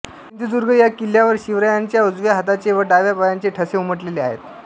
सिंधुदुर्ग या किल्ल्यावर शिवरायांच्या उजव्या हाताचे व डाव्या पायाचे ठसे उमटलेले आहेत